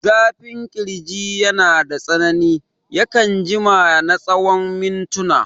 Zafin ƙirji yanada tsanani, yakan jima na tsawon mintina.